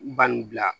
Bani bila